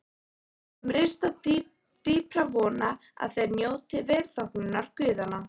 Þeir sem rista dýpra vona að þeir njóti velþóknunar guðanna.